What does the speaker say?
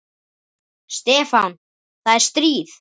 Stefán, það er stríð.